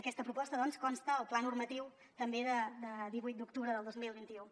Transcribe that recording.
aquesta proposta doncs consta al pla normatiu també de divuit d’octubre del dos mil vint u